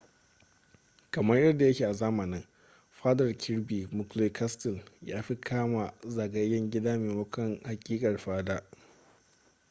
kamar yadda ya ke a zamanin fadar kirby muxloe castle yafi kama zagayayyen gida maimakon haƙiƙar fada